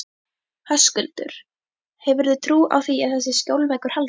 Höskuldur: Hefurðu trú á því að þessi skjólveggur haldi?